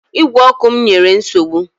Ígwè ọkụ m nyere nsogbu